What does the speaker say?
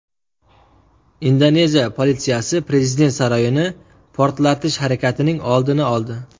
Indoneziya politsiyasi prezident saroyini portlatish harakatining oldini oldi.